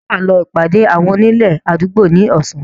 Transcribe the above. Ǹjẹ́ Wà lọ ìpàdé àwọn onílé àdúgbò ni Ọ̀sán?